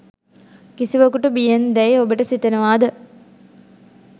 කිසිවකුට බියෙන් දැයි ඔබට සිතෙනවාද?